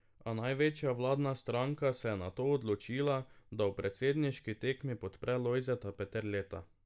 A največja vladna stranka se je nato odločila, da v predsedniški tekmi podpre Lojzeta Peterleta.